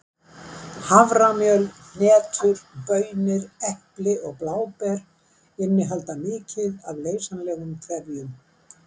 Haframjöl, hnetur, baunir, epli og bláber innihalda mikið af leysanlegum trefjum.